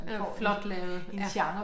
Den er flot lavet ja